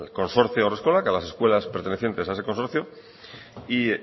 consorcio haurreskolak a las escuelas pertenecientes a ese consorcio